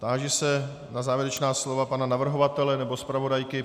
Táži se na závěrečná slova pana navrhovatele nebo zpravodajky.